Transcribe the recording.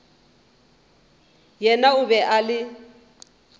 yena o be a le